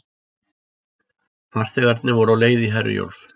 Farþegarnir voru á leið í Herjólf